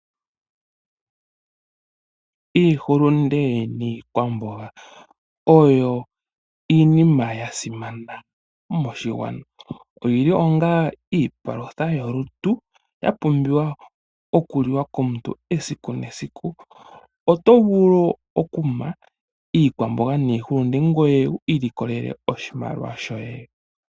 Iihulunde niikwamboga oyo iinima ya simana moshigwana. Oyi li ongaa iipalutha yolutu, ya pumbiwa okuliwa komuntu esiku nesiku. Oto vulu oku ma iikwamboga niihulunde ngoye wu kiilikolele oshimaliwa shoye .